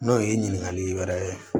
N'o ye ɲininkali wɛrɛ ye